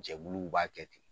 Jɛbuluw b'a kɛ ten.